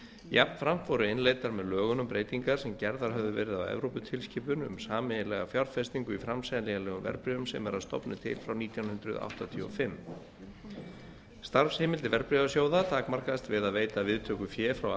jafnframt voru innleiddar með lögunum breytingar sem gerðar höfðu verið á evróputilskipun um sameiginlega fjárfestingu í framseljanlegum verðbréfum sem er að stofni til frá nítján hundruð áttatíu og fimm starfsheimildir verðbréfasjóða takmarkast við að veita viðtöku fé frá